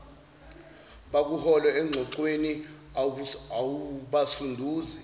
bakuhole engxoxweni awubasunduzi